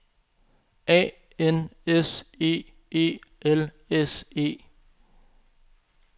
A N S E E L S E